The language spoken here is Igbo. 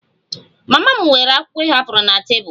Mama m weere akwụkwọ ị hapụrụ na tebụl